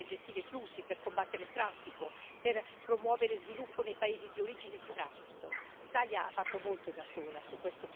Oggi noi lavoriamo, oltre che per salvare vite, per gestire i flussi, per combattere il traffico, per promuovere lo sviluppo nei paesi di origine e di transito.